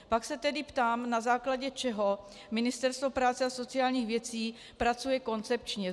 Pak se tedy ptám, na základě čeho Ministerstvo práce a sociálních věcí pracuje koncepčně.